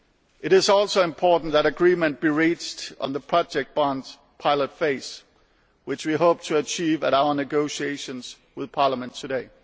It is also important that agreement be reached on the project bonds pilot phase, which we hope to achieve at our negotiations with Parliament today.